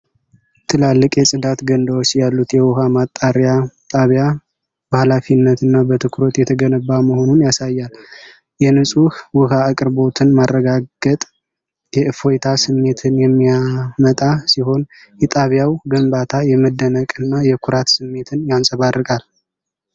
ትላልቅ የጽዳት ገንዳዎች ያሉት የውሃ ማጣሪያ ጣቢያ በሀላፊነትና በትኩረት የተገነባ መሆኑን ያሳያል። የንፁህ ውሃ አቅርቦትን ማረጋገጥ የእፎይታ ስሜትን የሚያመጣ ሲሆን የጣቢያው ግንባታ የመደነቅና የኩራት ስሜትን ያንጸባርቃል።